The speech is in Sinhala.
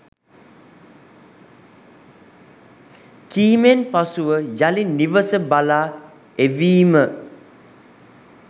කීමෙන් පසුව යළි නිවස බලා එවීම